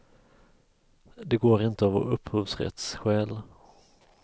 Det går inte av upphovsrättsskäl.